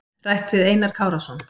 Rætt við Einar Kárason.